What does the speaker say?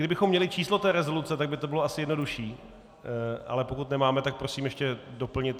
Kdybychom měli číslo té rezoluce, tak by to bylo asi jednodušší, ale pokud nemáme, tak prosím ještě doplnit.